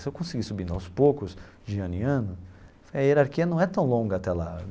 Se eu conseguir ir subindo aos poucos, de ano em ano, a hierarquia não é tão longa até lá.